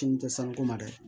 tɛ sanko ma dɛ